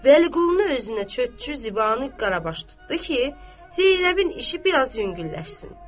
Vəliqulunu özünə çörəkçi, Zibanı qarabaş tutdu ki, Zeynəbin işi biraz yüngülləşsin.